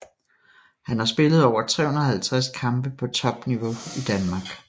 Han har spillet over 350 kampe på topniveau i Danmark